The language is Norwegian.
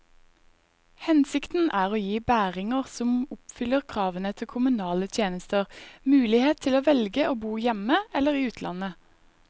Hensikten er å gi bæringer som oppfyller kravene til kommunale tjenester, mulighet til å velge å bo hjemme eller i utlandet.